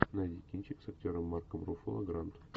найди кинчик с актером марком руффало гранд